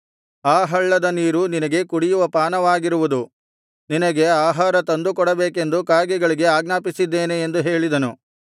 ಆ ಹಳ್ಳದ ನೀರು ನಿನಗೆ ಕುಡಿಯುವ ಪಾನವಾಗಿರುವುದು ನಿನಗೆ ಆಹಾರ ತಂದು ಕೊಡಬೇಕೆಂದು ಕಾಗೆಗಳಿಗೆ ಆಜ್ಞಾಪಿಸಿದ್ದೇನೆ ಎಂದು ಹೇಳಿದನು